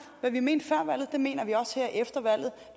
hvad vi mente før valget mener vi også her efter valget